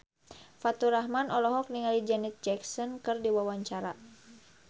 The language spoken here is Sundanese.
Faturrahman olohok ningali Janet Jackson keur diwawancara